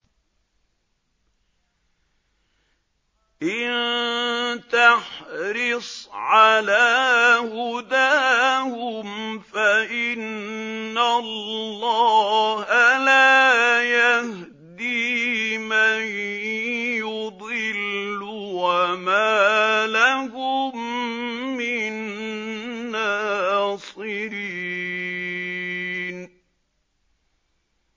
إِن تَحْرِصْ عَلَىٰ هُدَاهُمْ فَإِنَّ اللَّهَ لَا يَهْدِي مَن يُضِلُّ ۖ وَمَا لَهُم مِّن نَّاصِرِينَ